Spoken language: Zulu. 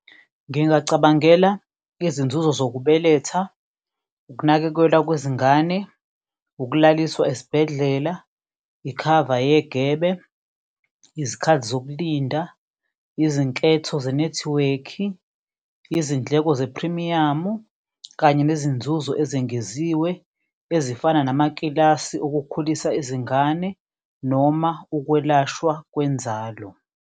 Ngingacabangela izinzuzo sokubeletha, ukunakekelwa kwezingane, ukulaliswa esibhedlela, ikhava negebe, izikhathi zokulinda, izinketho zenethiwekhi, izindleko zephrimiyamu, kanye nezinzuzo ezengeziwe, ezifana namakilasi okukhulisa izingane noma ukwelashwa kwenzalo.